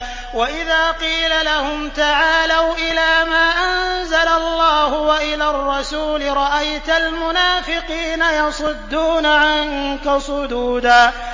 وَإِذَا قِيلَ لَهُمْ تَعَالَوْا إِلَىٰ مَا أَنزَلَ اللَّهُ وَإِلَى الرَّسُولِ رَأَيْتَ الْمُنَافِقِينَ يَصُدُّونَ عَنكَ صُدُودًا